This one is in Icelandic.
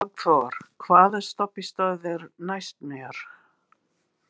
Magnþór, hvaða stoppistöð er næst mér?